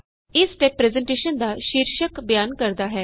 ਇਹ step presentation ਦਾ ਸ਼ੀਰਸ਼ਕ ਬਿਆਨ ਕਰਦਾ ਹੈ